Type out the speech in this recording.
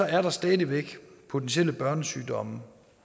er der stadig væk potentielle børnesygdomme